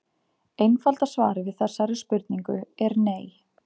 Einfalda svarið við þessari spurningu er nei.